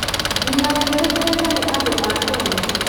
nginya wĩtĩkĩrĩke nĩ andũ a Kenya.